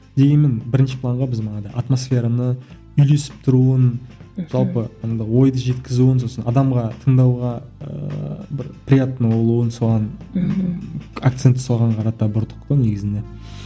дегенмен бірінші планға біз манадай атмосфераны үйлесіп тұруын жалпы енді ойды жеткізуін сосын адамға тыңдауға ыыы бір приятно болуын соған акцентті соған қарата бұрдық қой негізінде